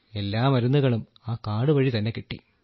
എല്ലാ മരുന്നുകളും ആ കാർഡ് വഴി തന്നെ കിട്ടി